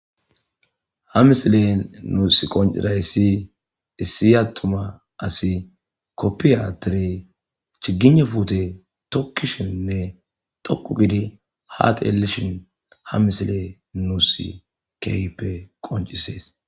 Ha missilen nussi qoncirayss issi aththuma assi kopiyya attiddi chigiynne puththe tokkishenne xooqu gidi ha xeelishshin ha missile nussi kehippe qonccesses.